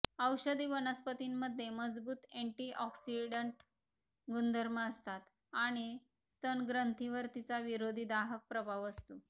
औषधी वनस्पतीमध्ये मजबूत एंटीऑक्सिडंट गुणधर्म असतात आणि स्तन ग्रंथींवर तिचा विरोधी दाहक प्रभाव असतो